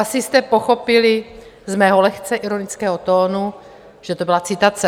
Asi jste pochopili z mého lehce ironického tónu, že to byla citace.